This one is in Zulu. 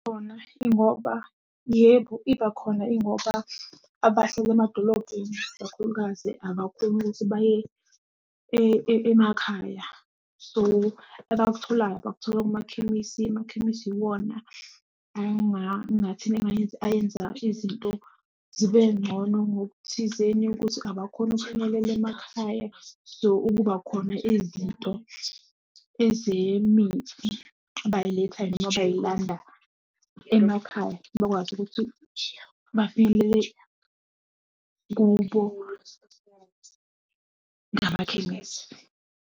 Khona ingoba, yebo ibakhona ingoba, abahlala emadolobheni kakhulukazi abakhoni ukuthi baye emakhaya. So, abakutholayo bakuthola kumakhemisi, emakhemisi iwona engathini angayenzi, ayenza izinto zibengcono ngokuthizeni ukuthi abakhoni ukufinyelela emakhaya. So, ukuba khona izinto ezemithi bayiletha noma bayilanda emakhaya, bakwazi ukuthi bafinyelele kubo ngamakhemisi.